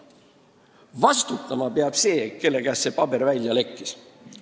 Vastutama peab see, kelle kaudu see paber lekkis.